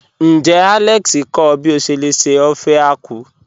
Níjẹ́ Alex kọ ọ̀ bí o ṣé lè ṣè ófẹ̀ àkwụ̀?